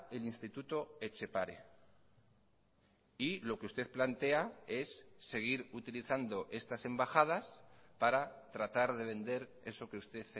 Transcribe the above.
el instituto etxepare y lo que usted plantea es seguir utilizando estas embajadas para tratar de vender eso que usted